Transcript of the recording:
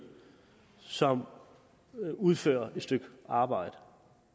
som udfører et stykke arbejde